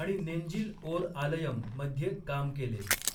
आणि नेंजिल ओर आलयम मध्ये काम केले.